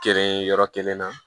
Kelen yɔrɔ kelen na